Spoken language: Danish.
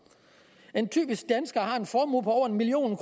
en typisk dansker har en formue på over en million